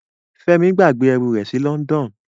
Femi gbàgbé ẹrú rẹ sí London.